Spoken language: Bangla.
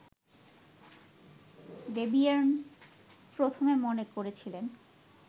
দ্যবিয়ের্ন প্রথমে মনে করেছিলেন